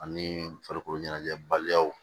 Ani farikolo ɲɛnajɛ baliyaw